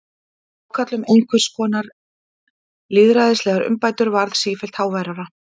Ákall um einhvers konar lýðræðislegar umbætur varð sífellt háværara.